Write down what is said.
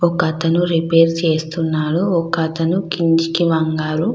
ఒక అతను రిపేర్ చేస్తున్నాడు ఒక అతను కిందకి వంగాడు.